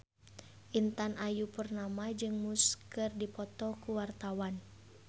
Intan Ayu Purnama jeung Muse keur dipoto ku wartawan